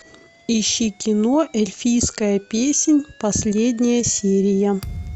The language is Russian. ищи кино эльфийская песнь последняя серия